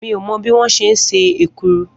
Mi ò mo̩ bí wón s̩e ń se èkuru